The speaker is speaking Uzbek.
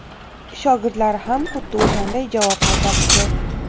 shogirdlari ham xuddi o‘shanday javob qaytarishdi.